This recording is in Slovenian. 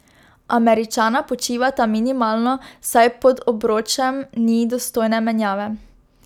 Američana počivata minimalno, saj pod obročem ni dostojne menjave.